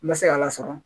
N ma se k'a lasɔrɔ